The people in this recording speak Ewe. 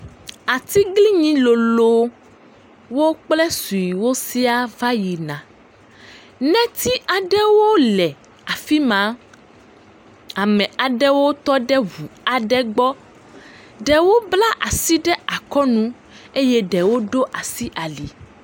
Atiglinyi lolowo kple suewo sia va yina. Netsi aɖewo le afi ma. Ame aɖewo tɔ ɖe ŋu aɖe gbɔ. Ɖewo bla asi ɖe akɔnu eye ɖewo ɖo asi ali.